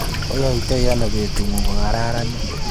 Ayaitai ano betung'ung kokararanit.